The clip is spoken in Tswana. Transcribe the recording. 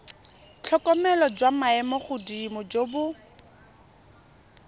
tlhokomelo jwa maemogodimo jo bo